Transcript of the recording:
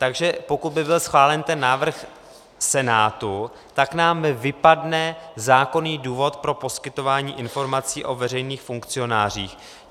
Takže pokud by byl schválen ten návrh Senátu, tak nám vypadne zákonný důvod pro poskytování informací o veřejných funkcionářích.